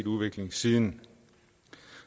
udvikling siden